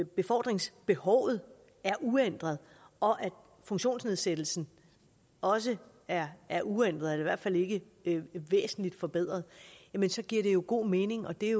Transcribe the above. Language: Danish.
befordringsbehovet er uændret og at funktionsnedsættelsen også er er uændret eller i hvert fald ikke væsentligt forbedret så giver det jo god mening og det